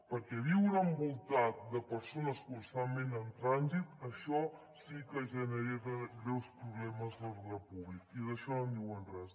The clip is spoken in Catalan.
perquè viure envoltat de persones constantment en trànsit això sí que genera greus problemes d’ordre públic i d’això no en diuen res